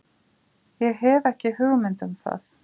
Ég hef ekki hugmynd um það.